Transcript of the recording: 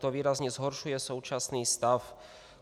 To výrazně zhoršuje současný stav.